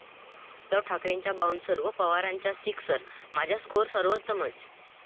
उद्धव ठाकरेंच्या 'बाऊंसर'वर पवारांचा 'सिक्सर', 'माझा स्कोअर सर्वोत्तमच'!